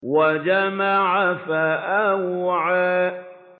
وَجَمَعَ فَأَوْعَىٰ